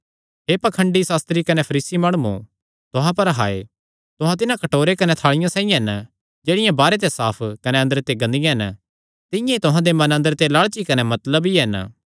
हे पाखंडी सास्त्री कने फरीसी माणुओ तुहां पर हाय तुहां तिन्हां कटोरे कने थाल़िया साइआं हन जेह्ड़ियां बाहरे ते साफ कने अंदरे ते गंदियां हन तिंआं ई तुहां दे मन अंदरे ते लालची कने मतलबी हन